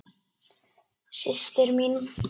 Systir mín.